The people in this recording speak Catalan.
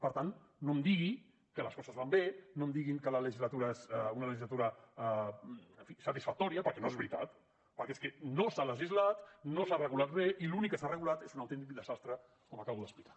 per tant no em digui que les coses van bé no em diguin que la legislatura és una legislatura en fi satisfactòria perquè no és veritat perquè és que no s’ha legislat no s’ha regulat res i l’únic que s’ha regulat és un autèntic desastre com acabo d’explicar